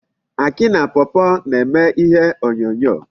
Akị na pawpaw na-eme ihe onyonyo.